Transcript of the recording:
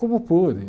Como pude?